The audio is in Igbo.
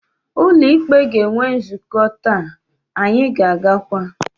Ụlọ ikpe ga-enwe nzukọ taa, anyị ga-agakwa.